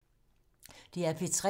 DR P3